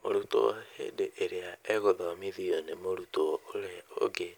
Mũrutwo hĩndĩ ĩrĩa agũthomithio nĩ mũrutwo ũrĩa ũngĩ,